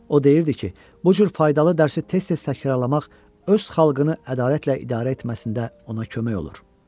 O deyirdi ki, bu cür faydalı dərsi tez-tez təkrarlamaq öz xalqını ədalətlə idarə etməsində ona kömək olur.